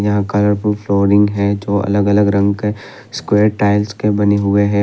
यहां colourful flooring है जो अलग अलग रंग के स्क्वायर टाइल्स के बने हुये हैं।